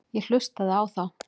Ég hlustaði á þá.